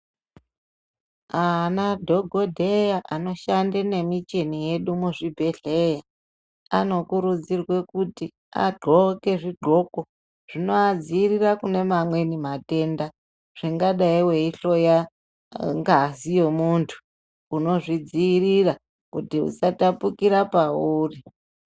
Ana dhokodheya anoshande nemucheni yedu muzvibhedhleya anokurudzirwe kuti adxoke zvidxoko zvinoadziirira kune mamweni matendazvingadai weihloya ngazi yemuntu unozvidziirira kuti isatapukira pauri.